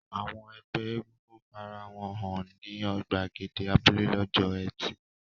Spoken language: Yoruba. Àwọn ẹgbẹ́ egúngún fara wọn hàn ní ìgbàgede abúlé lọ́jọ́ ẹtì.